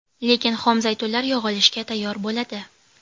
Lekin xom zaytunlar yog‘ olishga tayyor bo‘ladi.